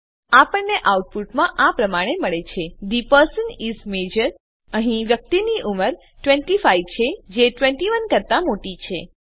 આપણને આઉટપુટ મળે છે થે પર્સન ઇસ મજોર અહીં વ્યક્તિની ઉંમર ૨૫ છે જે ૨૧ કરતા મોટી છે